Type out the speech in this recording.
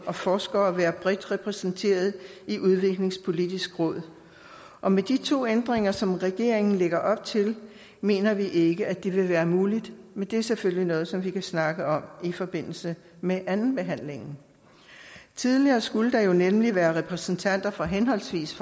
og forskere være bredt repræsenteret i udviklingspolitisk råd og med de to ændringer som regeringen lægger op til mener vi ikke at det vil være muligt men det er selvfølgelig noget som vi kan snakke om i forbindelse med andenbehandlingen tidligere skulle der jo nemlig være repræsentanter for henholdsvis